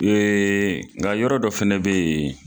nka yɔrɔ dɔ fana bɛ yen.